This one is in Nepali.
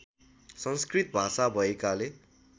संस्कृत भाषा भएकाले